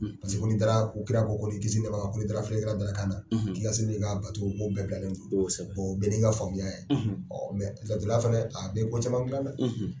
Paseke ko ni dara ko kira ko ko ni kisi ni nɛma b'a ma ko ni da la filɛlikɛra dalakan na k'i ka seli n'i ka bato ko bɛɛ bilalen do bɛɛ n'i ka faamuya ye laturudala fana a bɛ fɛn caman gilan dɛ.